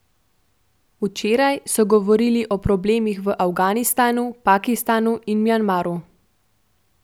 Včeraj so govorili o problemih v Afganistanu, Pakistanu in Mjanmaru.